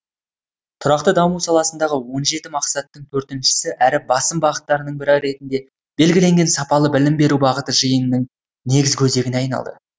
тұрақты даму саласындағы он жеті мақсаттың төртіншісі әрі басым бағыттардың бірі ретінде белгіленген сапалы білім беру бағыты жиынның негізгі өзегіне айналды